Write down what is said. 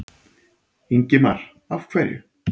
Ingimar: Af hverju?